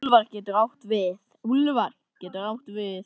Úlfar getur átt við